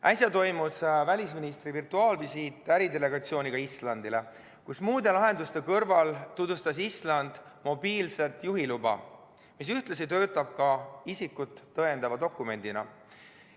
Äsja toimus välisministri virtuaalvisiit äridelegatsiooniga Islandile, kus muude lahenduste kõrval tutvustas Island mobiilset juhiluba, mis ühtlasi töötab ka isikut tõendava dokumendina.